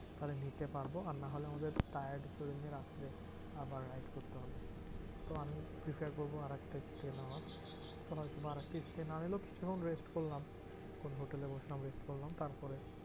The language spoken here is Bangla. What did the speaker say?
তাহলে নিতে পারবো আর নাহলে আমাদের tired শরীর নিয়ে রাত্রে আবার ride করতে হবে। তো আমি prepared করবো আরেকটা stay নেওয়ার। তখন হয়তো বা আরেকটা stay না নিলেও কিছুক্ষন rest করলাম কোনো হোটেলে বসে rest করলাম তারপরে